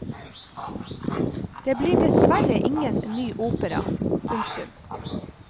Det blir dessverre ingen ny opera. punktum